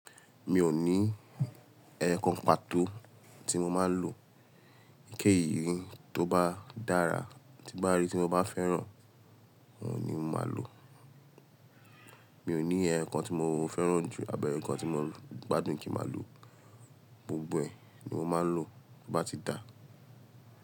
Mi ò ní ẹẹkan pàtó tí mo máa ń lò. Ké ìrìn tó bá dára, tí n bá rí tí mo bá fẹ́ràn òhun ni màá lò. Mi ò ní ẹ̀yokan tí mo fẹ́ràn jù, abi ẹyokan tí mo gbádùn kí màá lò. Gbogbo ẹ̀ ni mo máa ń lò bá ti dà.